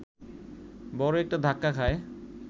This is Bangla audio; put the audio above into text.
বড় একটা ধাক্কা খায়